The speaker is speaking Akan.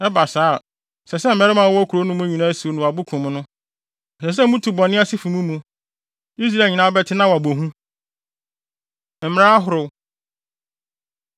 Ɛba saa a, ɛsɛ sɛ mmarima a wɔwɔ kurow no mu nyinaa siw no abo kum no. Ɛsɛ sɛ mutu bɔne ase fi mo mu. Israel nyinaa bɛte na wɔabɔ hu. Mmara Ahorow